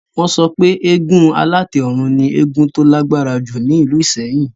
Wọ́n sọ pé eégún alátẹ ọ̀run ni eégún tó lágbára jù ní ìlú ìsẹ́yìn